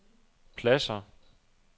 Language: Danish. pladsér